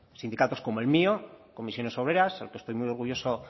sindicatos como el mío comisiones obreras al que estoy muy orgulloso